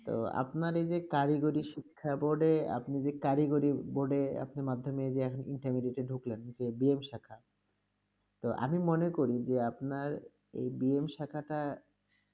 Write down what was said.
তো আপনার এই যে কারিগরি শিক্ষা board -এ, আপনি যে কারিগরি board -এ আপনি যে মাধ্যমিক যে আপনি Intermediate -এ ঢুকলেন যে B. M শাখা, তো আমি মনে করি যে আপনার এই B. M শাখাটা